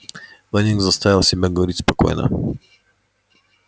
лэннинг заставил себя говорить спокойно